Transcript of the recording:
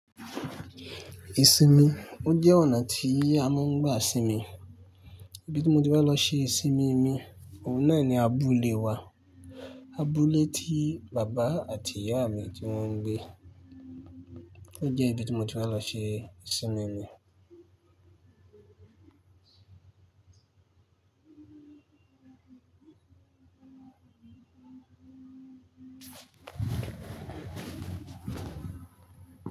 Ìsinmi, ó jẹ́ ọ̀nà tí a máa ń gbà sími. Ibi tí mo ti wá lọ ṣe ìsinmi mi, òun náà ni abúlé wa. Abúlé tí bàbá àti ìyá mi tí wọ́n gbé. Ó jẹ́ ibi tí mo ti wá lọ ṣe ìsinmi mi.